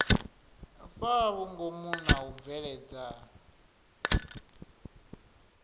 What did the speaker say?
fhaa vhungomu na u bveledza